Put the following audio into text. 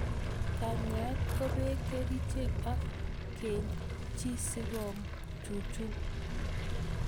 Kanyaet ko pee kerichek ak keeny chii si ko chuchuch